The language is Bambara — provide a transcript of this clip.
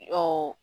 O